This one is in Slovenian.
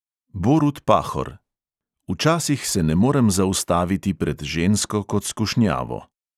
Borut pahor: "včasih se ne morem zaustaviti pred žensko kot skušnjavo."